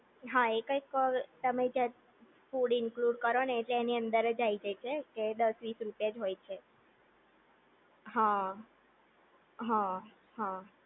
હા એ કઈક તમે જે ફૂડ ઇંલુંડ કરો ને એ એની અંદર જ આઈ જાય છે. કે દસ વીસ રૂપયા જ હોય છે.